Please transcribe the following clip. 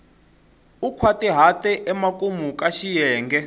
u nkhwatihata emakumu ka xiyenge